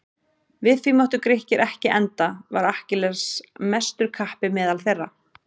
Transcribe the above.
Við því máttu Grikkir ekki enda var Akkilles mestur kappi meðal þeirra.